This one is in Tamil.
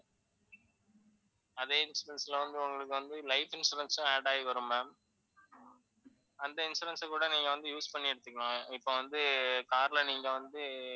அதே insurance ல வந்து, உங்களுக்கு வந்து life insurance சும் add ஆயி வரும் ma'am அந்த insurance ஐ கூட நீங்க வந்து use பண்ணி எடுத்துக்கலாம். இப்ப வந்து car ல நீங்க வந்து,